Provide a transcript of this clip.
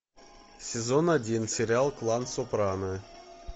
сезон один сериал клан сопрано